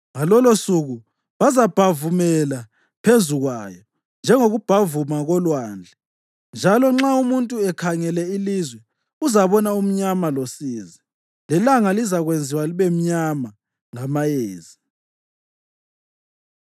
Ngalolosuku bazabhavumela phezu kwayo njengokubhavuma kolwandle. Njalo nxa umuntu ekhangela ilizwe, uzabona umnyama losizi; lelanga lizakwenziwa libe mnyama ngamayezi.